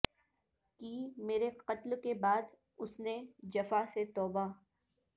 کی مرے قتل کے بعد اس نے جفا سے توبہ